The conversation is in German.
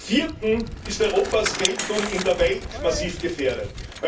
Und zum Vierten ist Europas Geltung in der Welt massiv gefährdet.